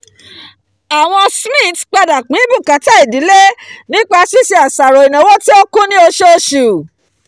àwọn smiths padà pín bùkátà ìdílé nípa ṣíṣe àṣàrò ìnáwó tí ó kún ni oṣooṣù